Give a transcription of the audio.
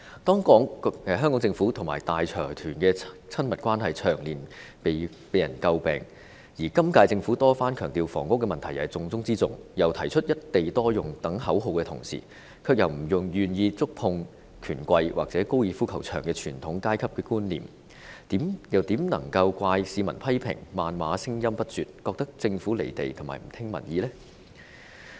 香港政府和大財團的親密關係長年被人詬病，而今屆政府多番強調房屋問題是重中之重，又提出"一地多用"等口號之餘，卻又不願觸碰權貴或高爾夫球場這傳統上層階級標誌，又怎能怪市民批評、謾罵聲音不絕，覺得政府"離地"和不聽民意呢？